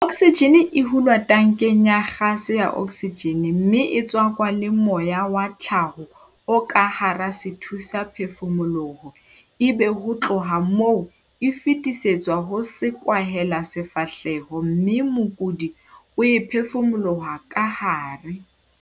Oksijene e hulwa tankeng ya gase ya oksijene mme e tswakwa le moya wa tlhaho o ka hara sethusaphefumoloho ebe ho tloha moo e fetisetswa ho sekwahelasefahleho mme mokudi o e phefumolohelwa kahare.